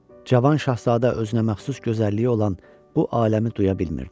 Cavan şahzadə özünə məxsus gözəlliyi olan bu aləmi duya bilmirdi.